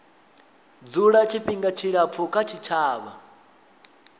dzula tshifhinga tshilapfu kha tshitshavha